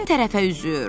Mən tərəfə üzür.